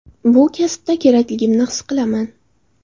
Bu kasbda kerakligimni his qilaman.